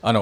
Ano.